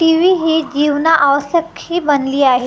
TV ही जीवनावश्यक ही बनली आहे.